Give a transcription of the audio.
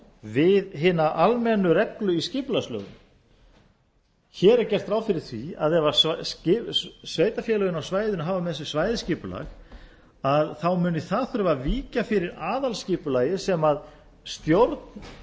við hina almennu reglu í skipulagslögum hér er gert ráð fyrir því að ef sveitarfélögin á svæðinu hafa með sér svæðisskipulag muni það þurfa að víkja fyrir aðalskipulagi sem stjórn